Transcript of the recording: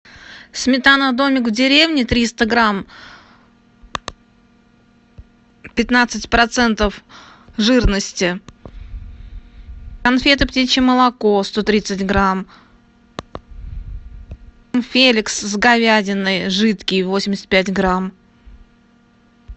сметана домик в деревне триста грамм пятнадцать процентов жирности конфеты птичье молоко сто тридцать грамм феликс с говядиной жидкий восемьдесят пять грамм